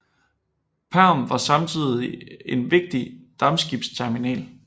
Perm var samtidigt en vigtig dampskibsterminal